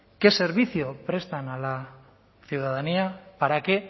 qué servicio prestan a la ciudadanía para qué